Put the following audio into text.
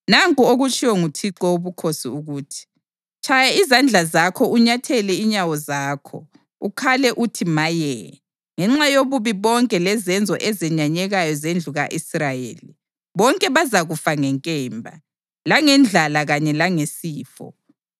Nanku okutshiwo nguThixo Wobukhosi ukuthi: “Tshaya izandla zakho unyathele inyawo zakho ukhale uthi Maye! Ngenxa yobubi bonke lezenzo ezenyanyekayo zendlu ka-Israyeli, bonke bazakufa ngenkemba, langendlala kanye langesifo.”